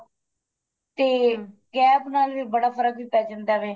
ਤੇ gap ਨਾਲ ਵੀ ਬੜਾ ਫਰਕ ਵੀ ਪੈ ਜਾਂਦਾ ਵੇ